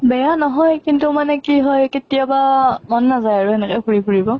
বেয়া নহয় কিন্তু মানে কি হয় কেতিয়াবা মন নাযায় আৰু হেনেকে ঘুৰি ফুৰিব।